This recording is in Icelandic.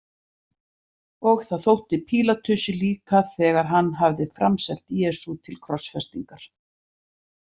Og það þótti Pílatusi líka þegar hann hafði framselt Jesú til krossfestingar.